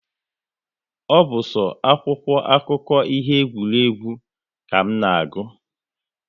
Ọ bụ so akwụkwọ akụkọ ihe egwuregwu ka m na-agụ